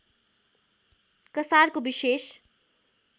कसारको विशेष